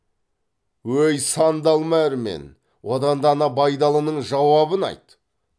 өй сандалма әрман одан да ана байдалының жауабын айт